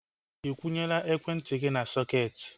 Ikwunyela ekwentị gị n'sọketi?